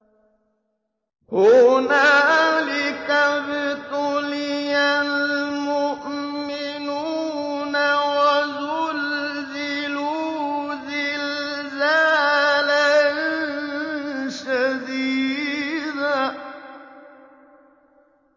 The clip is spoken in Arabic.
هُنَالِكَ ابْتُلِيَ الْمُؤْمِنُونَ وَزُلْزِلُوا زِلْزَالًا شَدِيدًا